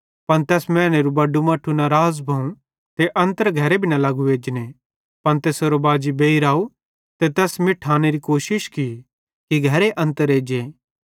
पन तैस मैनेरू बड़ू मट्ठू नाराज़ भोवं ते अन्तर घरे मां भी न लगो एजने पन तैसेरो बाजी बेइर अव ते तैस मिठांनेरी कोशिश की कि घरे अन्तर एज्जे